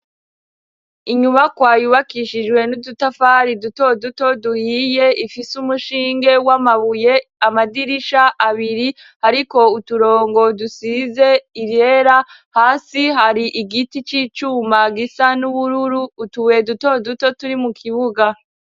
inyubakwa yubakishijwe n'udutafari duto duto duhiye, ifise umushinge w'amabuye. amadirisha abiri ariko uturongo dusize iryera, hasi hari igiti c'icuma gisa n'ubururu. utubuye duto duto turi mu kibuga.